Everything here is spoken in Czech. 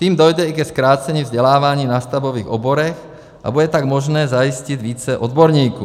Tím dojde i ke zkrácení vzdělávání v nástavbových oborech, a bude tak možné zajistit více odborníků.